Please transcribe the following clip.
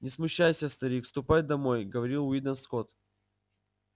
не смущайся старик ступай домой говорил уидон скотт